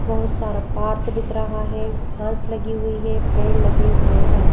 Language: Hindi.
बहुत सारा पार्क दिख रहा है घास लगी हुई है पेड़ लगे हुए हैं।